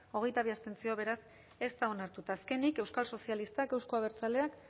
hogeita bi abstentzio beraz ez da onartu eta azkenik euskal sozialistak euzko abertzaleak